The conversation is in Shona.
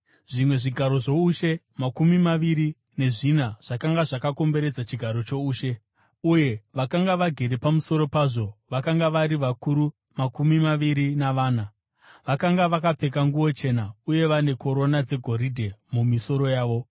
Zvimwe zvigaro zvoushe makumi maviri nezvina zvakanga zvakakomberedza chigaro choushe, uye vakanga vagere pamusoro pazvo vakanga vari vakuru makumi maviri navana. Vakanga vakapfeka nguo chena uye vane korona dzegoridhe mumisoro yavo.